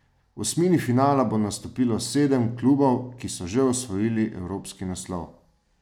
V osmini finala bo nastopilo sedem klubov, ki so že osvojili evropski naslov.